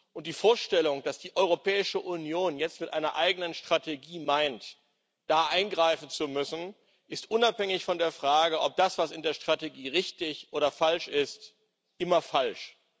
Und die Vorstellung, dass die Europäische Union jetzt mit einer eigenen Strategie meint, da eingreifen zu müssen, ist unabhängig von der Frage, ob das, was in der Strategie ist, richtig oder falsch ist immer falsch.